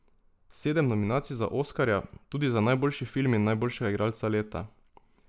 Sedem nominacij za oskarja, tudi za najboljši film in najboljšega igralca leta.